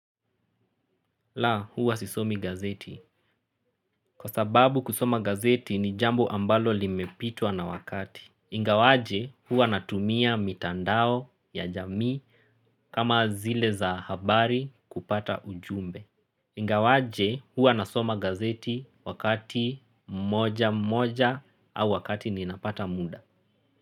La, huwa sisomi gazeti. Kwa sababu kusoma gazeti ni jambo ambalo limepitwa na wakati. Ingawaje huwa natumia mitandao ya jamii kama zile za habari kupata ujumbe. Ingawaje huwa nasoma gazeti wakati mmoja mmoja au wakati ninapata muda.